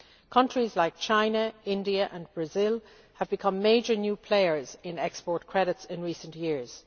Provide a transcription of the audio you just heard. Countries like China, India and Brazil have become major new players in export credits in recent years.